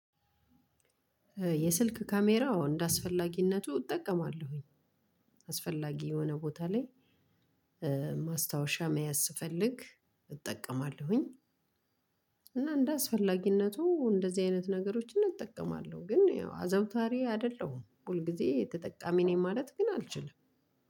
የስልክ ካሜራ እንደአስፈላጊነቱ እጠቀማለሁኝ። አስፈላጊ የሆነ ቦታ ላይ። ማስታወሻ መያዝ ስፈልግ እጠቀማለሁኝ። እና እንደ አስፈላጊነቱ እንደዚህ አይነት ነገሮችን እጠቀማለሁ ግን ያው አዘውታሪ አይደለሁም ሁል ጊዜ ተጠቃሚ ነኝ ማለት ግን አልችልም።